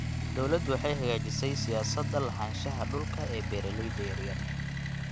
Dawladdu waxay hagaajisay siyaasadda lahaanshaha dhulka ee beeralayda yaryar.